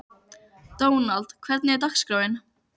Dónald, hvernig er dagskráin?